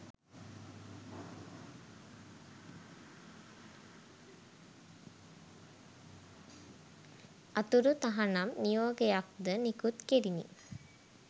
අතුරු තහනම් නියෝගයක්ද නිකුත් කෙරිණි